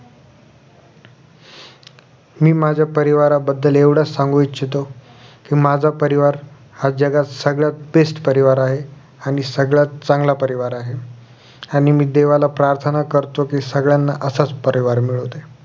मी माझ्या परिवार बद्दल एवढं सांगू इच्छितो कि माझा परिवार हा जगात सगळ्यात best परिवार आहे आणि सगळ्यात चांगला परिवार आहे आणि मी देवाला प्रार्थना करतो कि सगळ्यांना असाच परिवार मिळूदे